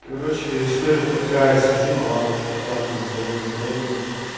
короче история такая сижу на лавочке в парке никого не трогаю